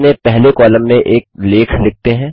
अपने पहले कॉलम में एक लेख लिखते हैं